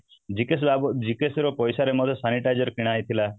GKS ର ପଇସା ରେ ମଧ୍ୟ sanitizer କିଣା ହେଇଥିଲା